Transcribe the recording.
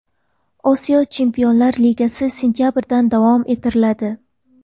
Osiyo Chempionlar Ligasi sentabrdan davom ettiriladi.